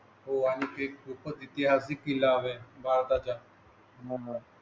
होय आणि इतिहास देखील आहे भारताच्या म्हणून.